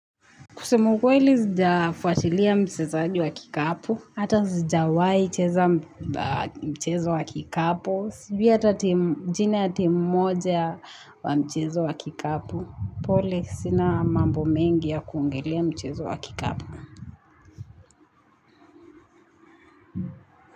Kusema ukweli sijafatilia mchezaji wa kikapu. Hata sijawahi cheza mchezo wa kikapu. Sijui hata timu jina ya timu mmoja ya mchezo wa kikapu. Pole sina mambo mengi ya kuongelea mchezo wa kikapu.